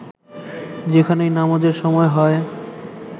যেখানেই নামাজের সময় হয়